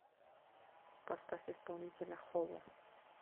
поставь исполнителя хово